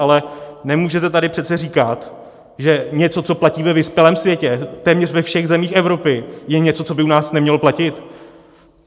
Ale nemůžete tady přece říkat, že něco, co platí ve vyspělém světě, téměř ve všech zemích Evropy, je něco, co by u nás nemělo platit!